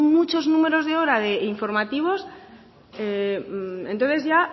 muchos números de horas de informativos entonces ya